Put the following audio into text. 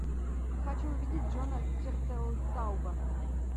хочу увидеть джона тертелтауба